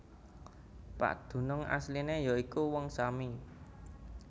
Padunung asliné ya iku Wong Sami